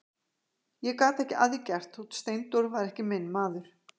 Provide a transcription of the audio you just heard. Ég gat ekki að því gert þótt Steindór væri ekki minn maður.